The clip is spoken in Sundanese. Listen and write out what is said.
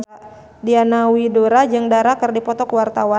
Diana Widoera jeung Dara keur dipoto ku wartawan